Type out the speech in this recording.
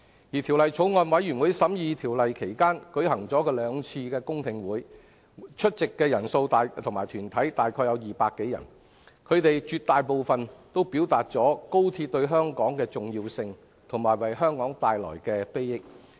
而法案委員會審議《條例草案》期間，舉行了兩次公聽會，出席的個人和團體代表約共200多人，他們絕大部分認同高鐵對香港重要，以及會為香港帶來裨益。